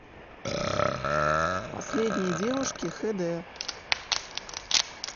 последние девушки хэ дэ